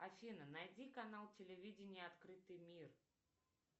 афина найди канал телевидения открытый мир